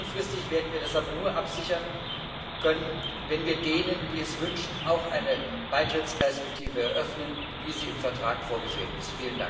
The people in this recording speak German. Langfristig werden wir das aber nur absichern können, wenn wir denen, die es wünschen, auch eine Beitrittsperspektive eröffnen, wie sie im Vertrag vorgesehen ist.